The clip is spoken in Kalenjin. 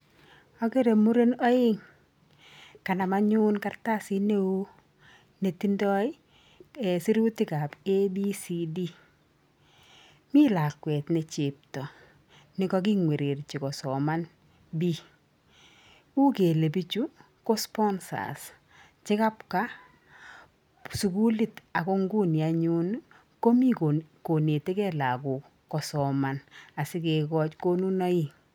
Ogere muren oeng' kanam anyun kartasit neoo netindoi sirutikab ABCD. Mi lakwet ne chepto nekaking'wererji kosoman B. U kele bichu, ko sponsors chekabwaa sugulit ago nguni anyun, komii konetegei lagok kosoman asikigochi konunoik.